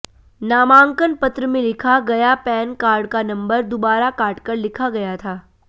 नामांकन पत्र में लिखा गया पैन कार्ड का नंबर दुबारा काटकर लिखा गया था